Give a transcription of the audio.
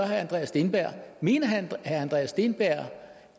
herre andreas steenberg mener herre andreas steenberg